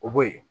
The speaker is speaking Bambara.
O bo yen